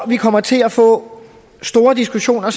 vi kommer til at få store diskussioner